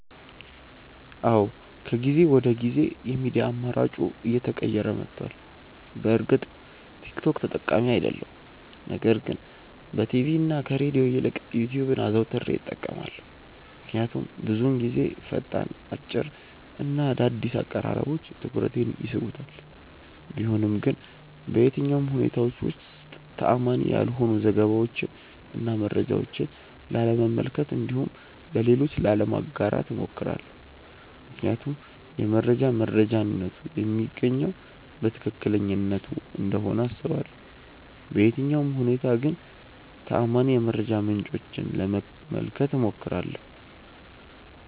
አዎ ከጊዜ ወደ ጊዜ የሚዲያ አማራጬ እየተቀየረ መቷል። በእርግጥ ቲክ ቶክ ተጠቃሚ አይደለሁም ነገር ግን በቲቪ እና ከሬድዮ ይልቅ ዩትዩብን አዘውትሬ እጠቀማለሁ። ምክንያቱም ብዙውን ጊዜ ፈጣን፣ አጭር እና አዳዲስ አቀራረቦች ትኩረቴን ይስቡታል። ቢሆንም ግን በየትኛውም ሁኔታዎች ውስጥ ተአማኒ ያልሆኑ ዘገባዎችን እና መረጃዎችን ላለመመልከት እንዲሁም ለሌሎች ላለማጋራት እሞክራለሁ። ምክንያቱም የመረጃ መረጃነቱ የሚገኘው ከትክክለኛነቱ እንደሆነ አስባለሁ። በየትኛውም ሁኔታ ግን ተአማኒ የመረጃ ምንጮችን ለመመልከት እሞክራለሁ።